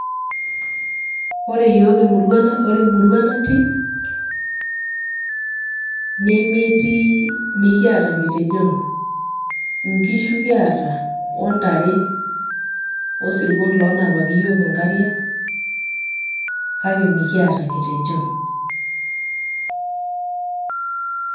ore yiook emurua ore emurua natii nemetii mikiata nkitejon. nkishu kiata ontare, osirkon lonapaki iyiook inkariak kake mikiata nkitejon